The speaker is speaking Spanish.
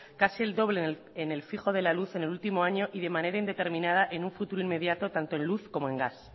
casi el doble en el fijo de la luz en el último año y de manera indeterminado en un futuro inmediato tanto en luz como en gas